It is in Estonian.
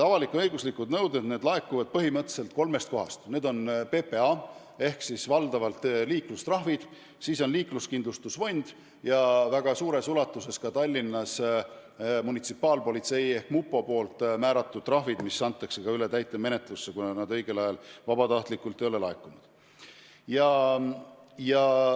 Avalik-õiguslike nõuete raha laekub põhimõtteliselt kolmest kohast: need on PPA nõuded ehk siis valdavalt liiklustrahvid, teiseks, liikluskindlustuse fondi nõuded ja väga suures ulatuses ka Tallinnas munitsipaalpolitsei ehk mupo määratud trahvid, mille sissenõudmine antakse ka üle täitemenetlusse, kui neid õigel ajal vabatahtlikult pole ära makstud.